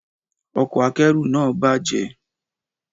Ọkọ̀ akẹ́rù náà bàjẹ́.